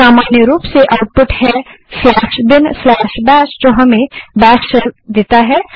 सामान्य रूप से आउटपुट है binbash जो हमें बैश शेल देता है